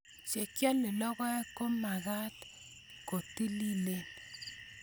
Che kiloe logoek ko mag'at ko tililen